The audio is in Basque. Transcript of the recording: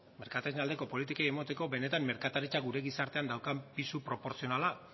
merkatarien aldeko politikei emateko benetan merkataritzak gure gizartean daukan pisu proportzionala